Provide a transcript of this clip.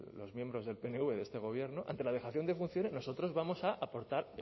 los miembros del pnv de este gobierno ante la dejación de funciones nosotros vamos a aportar